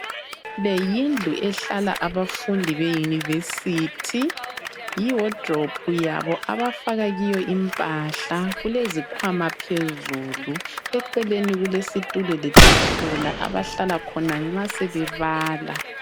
Le yindlu ehlala abafundi baseyunivesithi yi wardrobe yabo abafaka kiyo impahla kulezikwama phezulu eceleni kulesitulo letafula abahlala khona nxa sebebala .